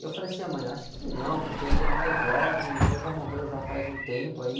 Eu falei assim, ah, mãe, acho que não, porque ele é mais jovem, o vô já morreu já faz um tempo aí,